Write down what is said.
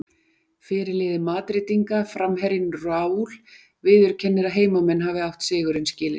Fyrirliði Madrídinga, framherjinn Raul, viðurkennir að heimamenn hafi átt sigurinn skilinn.